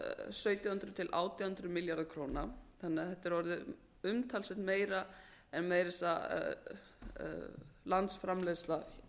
sautján hundruð til átján hundruð milljarðar króna þannig að þetta er orðið umtalsvert meira en meira að segja landsframleiðsla